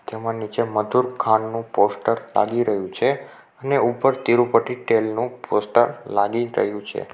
તેમાં નીચે મધુર ખાંડનું પોસ્ટર લાગી રહ્યું છે અને ઉપર તિરુપટી તેલનું પોસ્ટર લાગી રહ્યું છે.